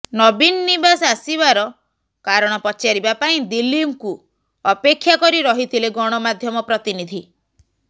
ନବୀନ ନିବାସ ଆସିବାର କାରଣ ପଚାରିବା ପାଇଁ ଦିଲ୍ଲୀପଙ୍କୁ ଅପେକ୍ଷା କରି ରହିଥିଲେ ଗଣମାଧ୍ୟମ ପ୍ରତିନିଧି